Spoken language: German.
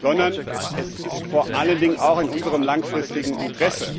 sondern es ist vor allen Dingen auch in unserem langfristigen Interesse.